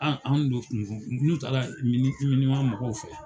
A anw de kun ko. n k'u taara Minima mɔgɔw fɛ.